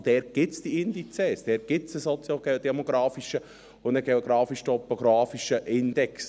Dort gibt es diese Indizes, dort gibt es einen soziodemografischen und einen geografisch-topografischen Index;